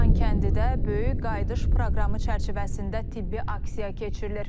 Xankəndidə böyük qayıdış proqramı çərçivəsində tibbi aksiya keçirilir.